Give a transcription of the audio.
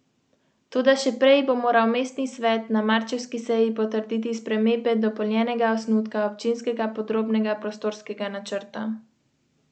Zakon pravi, da se od ponedeljka naprej lahko izdajajo poročna dovoljenja za istospolne pare.